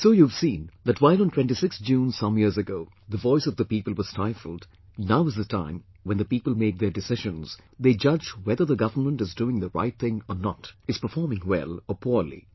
So you have seen that while on 26th June some years ago the voice of the people was stifled, now is the time, when the people make their decisions, they judge whether the government is doing the right thing or not, is performing well or poorly